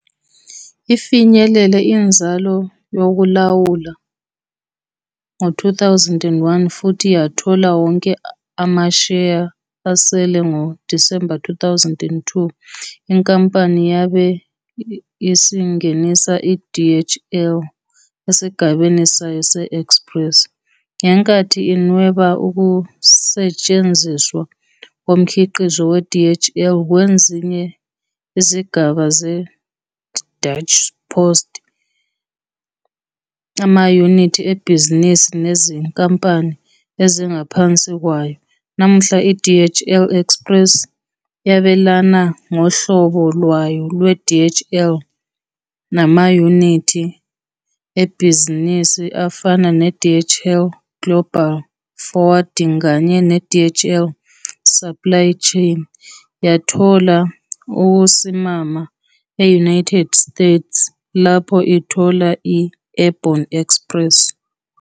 Ifinyelele inzalo yokulawula ngo-2001, futhi yathola wonke amasheya asele ngo-December 2002. Inkampani yabe isingenisa i-DHL esigabeni sayo se-Express, ngenkathi inweba ukusetshenziswa komkhiqizo we-DHL kwezinye izigaba ze-Deutsche Post, amayunithi ebhizinisi, nezinkampani ezingaphansi kwayo. Namuhla, i-DHL Express yabelana ngohlobo lwayo lwe-DHL namayunithi ebhizinisi afana ne- DHL Global Forwarding kanye ne- DHL Supply Chain. Yathola ukusimama e-United States lapho ithola i- Airborne Express.